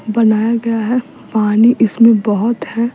बनाया गया है पानी इसमें बहुत है --